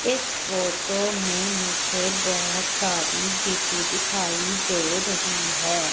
इस फोटो में मुझे बहुत सारी गिट्टी दिखाई दे रही है।